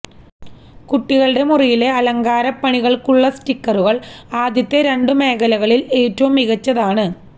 കുട്ടികളുടെ മുറിയിലെ അലങ്കാരപ്പണികൾക്കുള്ള സ്റ്റിക്കറുകൾ ആദ്യത്തെ രണ്ടു മേഖലകളിൽ ഏറ്റവും മികച്ചതാണ്